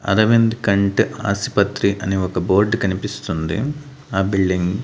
అరవింద్ కంట్ ఆసుపత్రి అని ఒక బోర్డ్ కనిపిస్తుంది ఆ బిల్డింగ్--